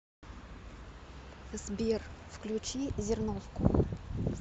сбер включи зерновку